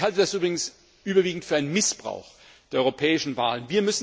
Ich halte das übrigens überwiegend für einen Missbrauch der europäischen Wahlen.